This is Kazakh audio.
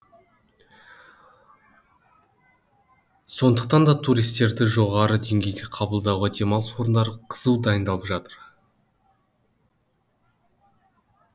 сондықтан туристерді жоғары деңгейде қабылдауға демалыс орындары қызу дайындалып жатыр